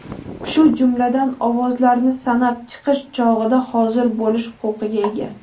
shu jumladan ovozlarni sanab chiqish chog‘ida hozir bo‘lish huquqiga ega.